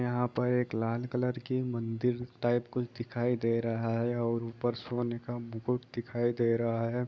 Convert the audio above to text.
यहां पर एक लाल कलर की मंदिर टाइप कुछ दिखाई दे रहा है और ऊपर सोने का मुकुट दिखाई दे रहा है।